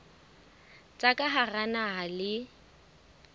tsa ka hara naha le